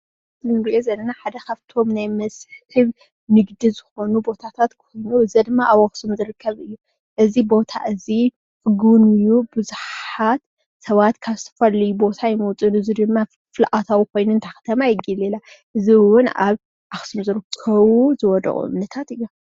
እን እንሪኦ ዘለና ካፍቾሞ ናይ ቱሪዝም መሦሕባት እዮም።